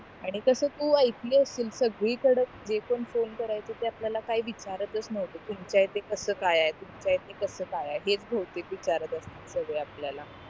आणि तास तू ऐकली अशील सगळी कडाच जे पण फोने करायचो ते आपल्याला काही विचरत नव्हते तुमच्या इथे कास काय आहे तुमच्या इथे कसा काय आहे हे भौतेक विचारात सगळे आपल्याला